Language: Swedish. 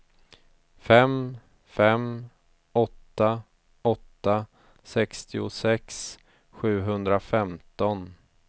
fem fem åtta åtta sextiosex sjuhundrafemton